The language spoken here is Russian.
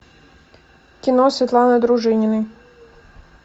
кино светланы дружининой